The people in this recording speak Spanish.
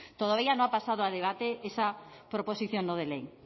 todavía no ha pasado a debate esa proposición no de ley